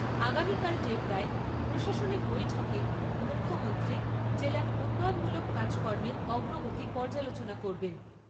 আগামীকাল ডেবরায় প্রশাসনিক বৈঠকে মুখ্যমন্ত্রী জেলার উন্নয়নমূলক কাজকর্মের অগ্রগতি পর্যালোচনা করবেন।